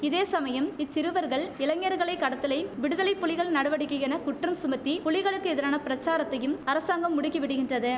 இதேசமயம் இச்சிறுவர்கள் இளைஞர்களை கடத்தலை விடுதலை புலிகள் நடவடிக்கை என குற்றம் சுமத்தி புலிகளுக்கு எதிரான பிரச்சாரத்தையும் அரசாங்கம் முடுக்கி விடுகின்றது